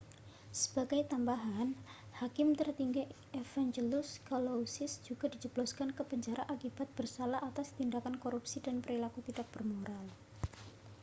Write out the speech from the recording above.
sebagai tambahan hakim tertinggi evangelos kalousis juga dijebloskan ke penjara akibat bersalah atas tindakan korupsi dan perilaku tidak bermoral